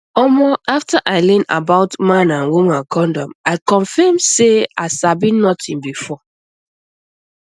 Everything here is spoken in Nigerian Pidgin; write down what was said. omo after i learn about man and woman condom i confirm say i sabi nothing before